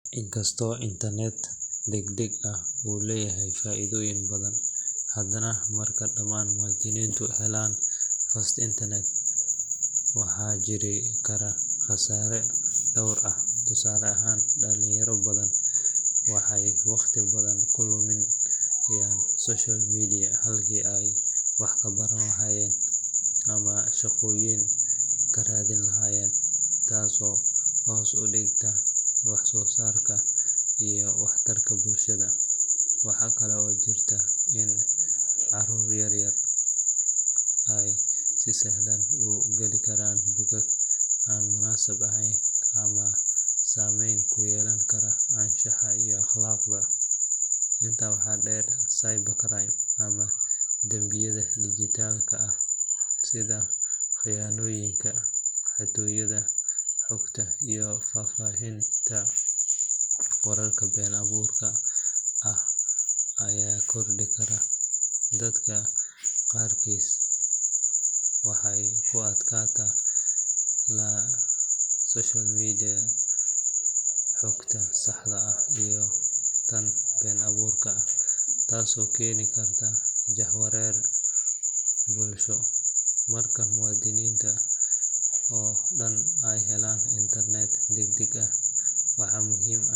Inkastoo internet degdeg ah uu leeyahay faa’iidooyin badan, haddana marka dhammaan muwaadiniintu helaan fast internet, waxaa jiri kara khasaareyo dhowr ah. Tusaale ahaan, dhalinyaro badan waxay waqti badan ku lumiyaan social media halkii ay wax ka baran lahaayeen ama shaqooyin ka raadin lahaayeen, taasoo hoos u dhigta wax-soosaarka iyo waxtarka bulshada. Waxaa kale oo jirta in caruurta yar yar ay si sahal ah u gali karaan bogag aan munaasib ahayn ama saameyn ku yeelan kara anshaxa iyo akhlaaqda. Intaa waxaa dheer, cyber crime ama dambiyada dijitaalka ah sida khiyaanooyinka, xatooyada xogta iyo faafinta wararka been abuurka ah ayaa kordhi kara. Dadka qaarkiis waxay ku adkaataa kala soocidda xogta saxda ah iyo tan been abuurka ah, taasoo keeni karta jahawareer bulsho. Marka muwaadiniinta oo dhan ay helaan internet degdeg ah, waxaa muhiim ah .